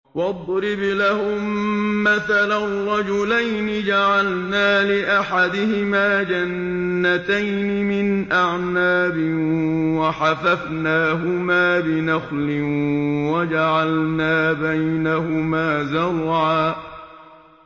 ۞ وَاضْرِبْ لَهُم مَّثَلًا رَّجُلَيْنِ جَعَلْنَا لِأَحَدِهِمَا جَنَّتَيْنِ مِنْ أَعْنَابٍ وَحَفَفْنَاهُمَا بِنَخْلٍ وَجَعَلْنَا بَيْنَهُمَا زَرْعًا